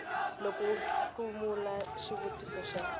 loko u hlamula xivutiso xa